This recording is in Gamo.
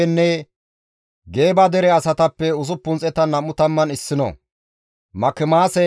Elaame geetettiza nam7anththo deren diza asatappe 1,254;